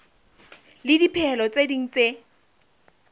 le dipehelo tse ding tse